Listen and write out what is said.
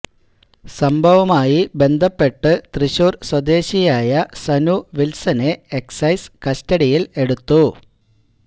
സംഭവവുമായി ബന്ധപ്പെട്ടു തൃശൂര് സ്വദേശിയായ സനു വില്സനെ എക്സൈസ് കസ്റ്റഡിയില് എടുത്തു